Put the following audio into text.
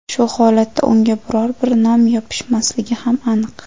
Shu holatda unga biror bir nom yopishmasligi ham aniq.